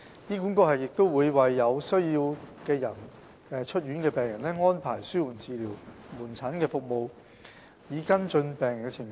醫管局亦會為有需要的出院病人安排紓緩治療門診服務，以跟進病人的情況。